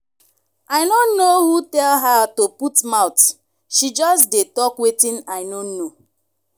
i no know who tell her to put mouth she just dey talk wetin i no know